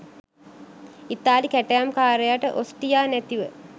ඉතාලි කැටයම් කාරයට ඔස්ටියා නැතිව